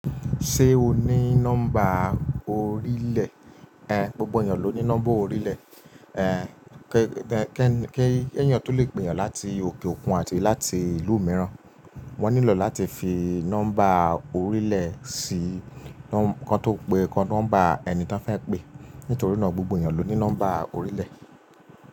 Ṣé o ní nọ́mbà orílẹ̀? Ẹ̀hẹ́n, gbogbo èeyàn ló ní nọ́mbà orílẹ̀. Ẹ̀hẹ́n, kí ènìyàn tó lè pè yàn láti òkè òkun àti láti ìlú mìíràn, wọ́n nílò láti fi nọ́mbà orílẹ̀ sí kọ́ tó pé nọ́mbà ẹni tó fẹ́ pé. Nítorí náà gbogbo ènìyàn ló ní nọ́mbà orílẹ̀.